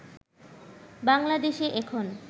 বাংলাদেশে এখন